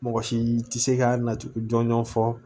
Mɔgɔ si tɛ se ka nacogo jɔnjɔn fɔ